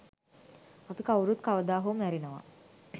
අපි කවුරුත් කවදාහෝ මැරෙනවා